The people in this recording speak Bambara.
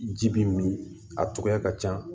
Ji bi min a togoya ka ca